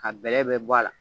Ka bɛlɛ bɛɛ bɔ a la.